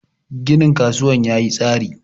ginin kasuwar ya tsari!